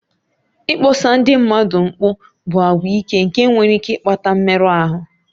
Ịkpọsa ndị mmadụ mkpu bụ àgwà ike nke nwere ike ịkpata mmerụ ahụ